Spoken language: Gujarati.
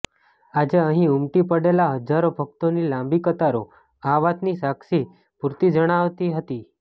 આજે અહી ઉમટી પડેલા હજારો ભક્તોની લાંબી કતારો આ વાતની સાક્ષી પૂરતી જણાતી હતી